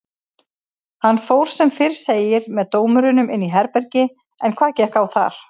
Hann fór sem fyrr segir með dómurunum inn í herbergi en hvað gekk á þar?